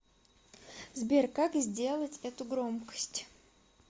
сбер как сделать эту громкость